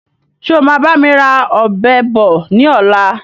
Ṣé o máa bami ra Ọ̀bẹ bọ̀ ni ọ̀la?